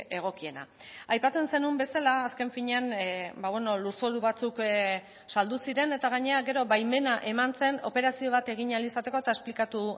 egokiena aipatzen zenuen bezala azken finean lurzoru batzuk saldu ziren eta gainera gero baimena eman zen operazio bat egin ahal izateko eta esplikatu